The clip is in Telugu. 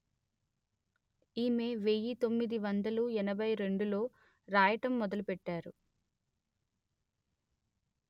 ఈమె వెయ్యి తొమ్మిది వందలు ఎనభై రెండులో రాయటం మొదలు పెట్టారు